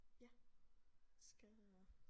Ja skal jeg nok